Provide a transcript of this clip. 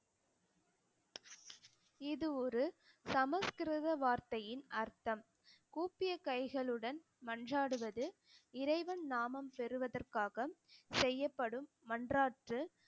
இது ஒரு சமஸ்கிருத வார்த்தையின் அர்த்தம் கூப்பிய கைகளுடன் மன்றாடுவது இறைவன் நாமம் பெறுவதற்காக செய்யப்படும் மன்றாற்று